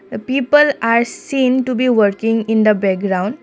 the people are seen to be working in the background.